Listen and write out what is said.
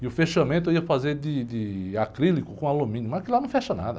E o fechamento eu ia fazer de, de acrílico com alumínio, mas aquilo lá não fecha nada.